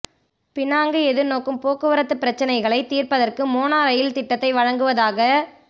Penang எதிர்நோக்கும் போக்குவரத்துப் பிரச்னைகளைத் தீர்ப்பதற்கு மோனோ ரயில் திட்டத்தை வழங்குவதாக